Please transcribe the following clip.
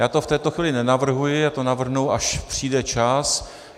Já to v této chvíli nenavrhuji, já to navrhnu, až přijde čas.